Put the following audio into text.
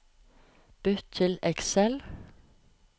Bytt til Excel